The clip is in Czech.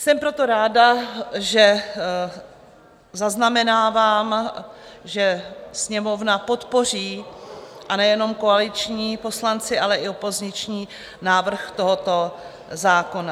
Jsem proto ráda, že zaznamenávám, že Sněmovna podpoří, a nejenom koaliční poslanci, ale i opoziční, návrh tohoto zákona.